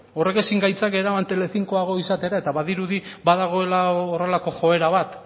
horrek ezin gaitzake eraman telecincoago izatera eta badirudi badagoela horrelako joera bat